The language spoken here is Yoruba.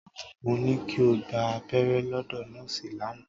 Mo ní kí o gba abẹ́rẹ́ lọ́dọ̀ nọ́ọ̀sì lánàá.